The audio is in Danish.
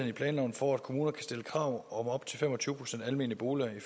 i planloven for at kommuner kan stille krav om op til fem og tyve procent almene boliger i